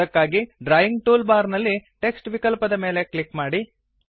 ಅದಕ್ಕಾಗಿ drawing tool bar ನಲ್ಲಿ text ವಿಕಲ್ಪದ ಮೇಲೆ ಕ್ಲಿಕ್ ಮಾಡಿ